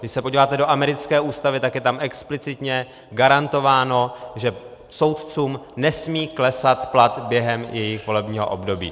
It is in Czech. Když se podíváte do americké ústavy, tak je tam explicitně garantováno, že soudcům nesmí klesat plat během jejich volebního období.